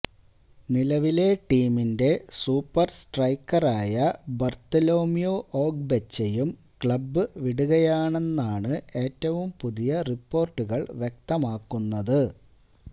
നിലവിലെ ടീമിന്റെ സൂപ്പര് സ്ട്രൈക്കറായ ബാര്ത്തലോമ്യു ഓഗ്ബെച്ചയും ക്ലബ്ബുവിടുകയാണെന്നാണ് ഏറ്റവും പുതിയ റിപ്പോര്ട്ടുകള് വ്യക്തമാക്കുന്നത്